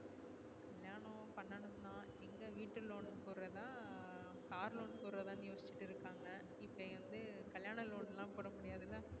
பண்ணனும் தான் எங்க வீட்டு loan போடறதா car loan போட்றதா யோசிச்சிட்டு இருகாங்க இபோ வந்து கல்யாணம் loan லா போடமுடியாதுல